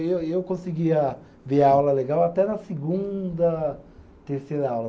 E eu, e eu conseguia ver a aula legal até na segunda, terceira aula.